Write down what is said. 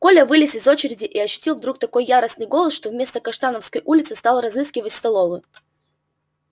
коля вылез из очереди и ощутил вдруг такой яростный голод что вместо каштановской улицы стал разыскивать столовую